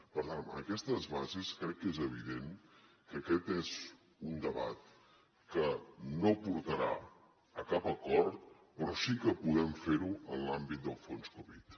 per tant amb aquestes bases crec que és evident que aquest és un debat que no portarà a cap acord però sí que podem fer ho en l’àmbit del fons covid